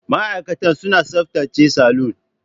Ma'aikatan suna tsaftace salon.